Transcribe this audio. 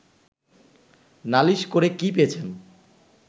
নালিশ করে কি পেয়েছেন